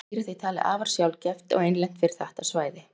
þetta dýr er því talið afar sjaldgæft og einlent fyrir þetta svæði